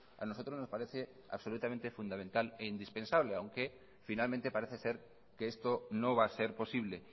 a nosotros nos parece absolutamente fundamental e indispensable aunque finalmente parece ser que esto no va a ser posible